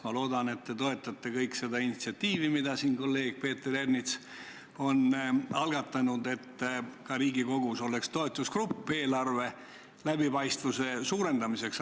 Ma loodan, et te kõik toetate seda initsiatiivi, mille kolleeg Peeter Ernits on algatanud, et ka Riigikogus oleks toetusgrupp eelarve läbipaistvuse suurendamiseks.